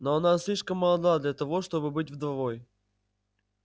но она слишком молода для того чтобы быть вдовой